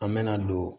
An mɛna don